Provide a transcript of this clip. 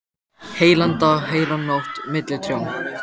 Heilan dag, heila nótt, milli trjáa.